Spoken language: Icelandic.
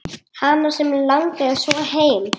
Hana sem langaði svo heim.